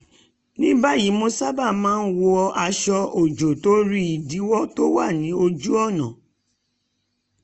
ní báyìí mo sábà wọ aṣọ-òjò torí ìdíwọ̀ tó wà ní àárọ̀